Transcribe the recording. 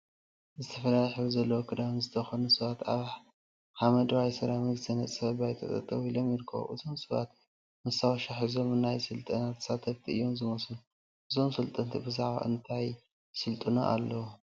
ዝተፈላለየ ሕብሪ ዘለዎ ክዳውንቲ ዝተከደኑ ሰባት አብ ሓመደዋይ ሰራሚክ ዝተነፀፈ ባይታ ጠጠወ ኢሎም ይርከቡ፡፡ እዞም ሰባት መስታወሻ ሒዞም ናይ ስልጠና ተሳተፍቲ እዮም ዝመስሉ፡፡ እዞም ሰልጠንቲ ብዛዕባ እንታዩ እዩ እቲ ስልጠናኦም?